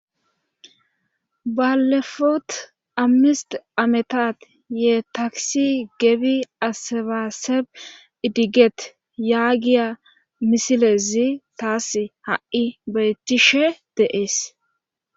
Baallefut amisyt ametat ye takisi gebi asebaseb isiget yagiya misilezi tas ha7i beettishe de7ees.